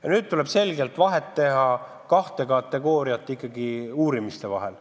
Ja nüüd tuleb teha selget vahet kahte liiki uurimiskategooriate vahel.